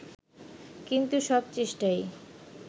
কিন্তু সব চেষ্টাই